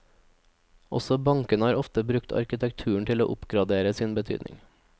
Også bankene har ofte brukt arkitekturen til å oppgradere sin betydning.